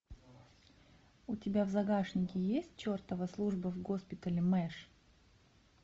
у тебя в загашнике есть чертова служба в госпитале мэш